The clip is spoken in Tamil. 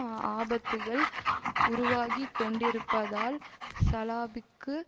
ஆபத்துக்கள் உருவாகி கொண்டிருப்பதால் சலாபிக்கு